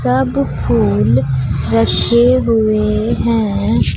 सब फूल रखे हुए हैं।